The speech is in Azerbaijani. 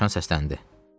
– deyə dovşan səsləndi.